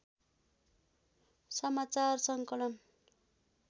समाचार सङ्कलन